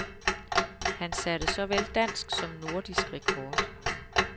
Han satte såvel dansk som nordisk rekord.